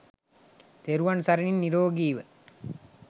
තෙරුවන් සරණින් නීරෝගීව